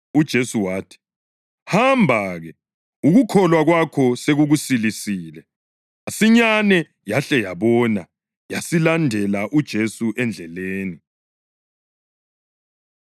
UJesu wathi, “Hamba-ke, ukukholwa kwakho sekukusilisile.” Masinyane yahle yabona yasilandela uJesu endleleni.